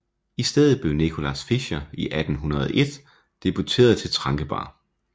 I stedet blev Nicolaus Fischer i 1801 deporteret til Trankebar